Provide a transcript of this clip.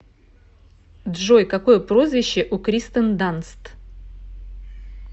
джой какое прозвище у кристен данст